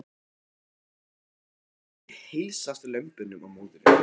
Magnús Hlynur: Og hvernig heilsast lömbunum og móðurinni?